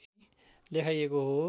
लेखाइएको हो